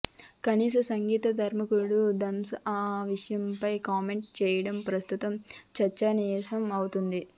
కాని సంగీత దర్శకుడు థమన్ ఆ విషయమై కామెంట్స్ చేయడం ప్రస్తుతం చర్చనీయాంశం అవుతుంది